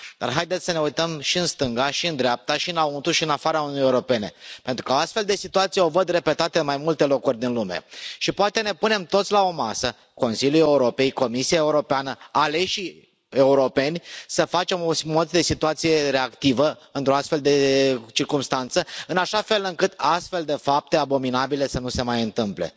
Dar haideți să ne uităm și în stânga, și în dreapta, și înăuntru, și în afara Uniunii Europene pentru că astfel de situații le văd repetate în mai multe locuri din lume, și poate ne punem toți la o masă, Consiliul Europei, Comisia Europeană, aleșii europeni, să facem o simulare de situație reactivă într o astfel de circumstanță, în așa fel încât astfel de fapte abominabile să nu se mai întâmple.